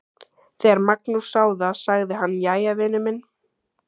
Þegar Magnús sá það sagði hann: Jæja, vinur minn.